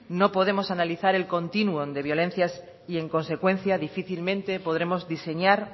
no podemos analizar el continuum de violencias y en consecuencia difícilmente podremos diseñar